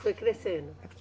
Foi crescendo?